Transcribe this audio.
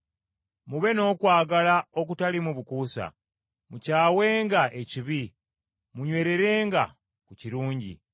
Mube n’okwagala okutaliimu bukuusa. Mukyawenga ekibi, munywererenga ku kirungi,